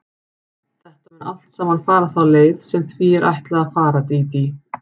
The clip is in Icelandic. Þetta mun allt saman fara þá leið sem því er ætlað að fara, Dídí.